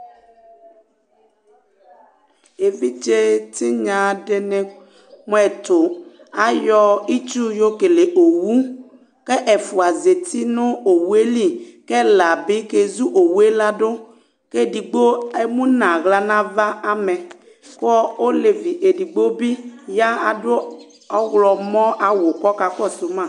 Évidjé tignă dini mu ɛtu, ayɔ ɩtsu yo kẹlẹ owu Kɛ ɛfua zatinu owue li, kɛ ɛla bi kẹ zu owue ladu, kẹ édigbo émunu aɣla na ava amɛ, kɔ olevi édigbo bi yadu oɣlɔ mɔ awu kɔ ka kɔ su ma